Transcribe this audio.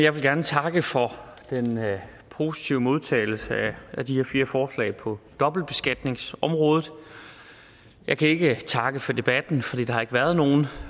jeg vil gerne takke for den positive modtagelse af de her fire forslag på dobbeltbeskatningsområdet jeg kan ikke takke for debatten fordi der ikke har været nogen